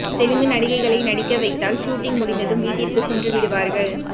தெலுங்கு நடிகைகளை நடிக்க வைத்தால் ஷூட்டிங் முடிந்ததும் வீட்டிற்கு சென்றுவிடுவார்கள்